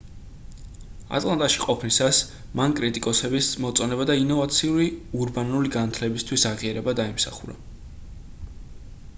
ატლანტაში ყოფნისას მან კრიტიკოსების მოწონება და ინოვაციური ურბანული განათლებისთვის აღიარება დაიმსახურა